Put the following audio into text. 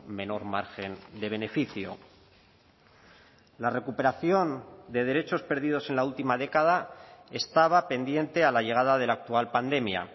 menor margen de beneficio la recuperación de derechos perdidos en la última década estaba pendiente a la llegada de la actual pandemia